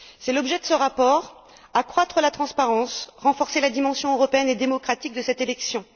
C'est l'objet de ce rapport accroître la transparence, renforcer la dimension européenne et démocratique de cette élection.